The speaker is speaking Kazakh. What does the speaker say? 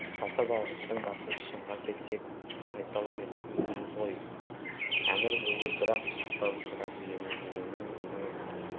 тартып алғыштың басы шынға келсек байсал емес өзіміз ғой әмір бойы бір-ақ қыстау сұрап емінгені өзіңіз